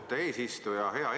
Austatud eesistuja!